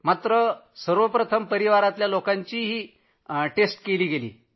परंतु सर्वप्रथम परिवारातल्या लोकांचीही चाचणी केली गेली होती